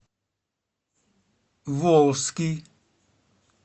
волжский